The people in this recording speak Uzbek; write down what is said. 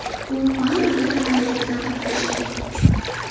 U pan-afrika harakatida qatnashdi.